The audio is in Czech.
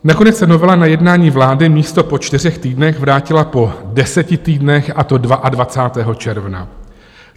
Nakonec se novela na jednání vlády místo po čtyřech týdnech vrátila po deseti týdnech, a to 22. června.